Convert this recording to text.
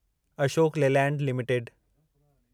Ashok Leyland limited